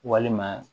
Walima